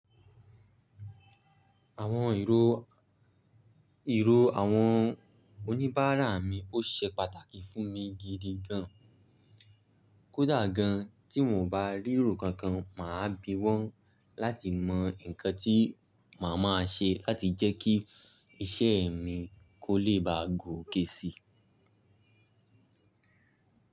Àwọn ìró, ìró àwọn oníbàárà mi ó ṣe pàtàkì fún mi gidi gan. Kódà gan tí n ò bá rí ìró kankan, màá bi wọ́n láti mọ nǹkan tí màá máa ṣe láti jẹ́ kí iṣẹ́ mi kó lè ba gòkè si.